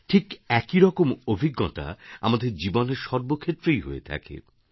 ঠিক একই রকম অভিজ্ঞতা আমাদের জীবনের সর্বক্ষেত্রেই হয়ে থাকে